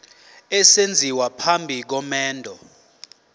esenziwa phambi komendo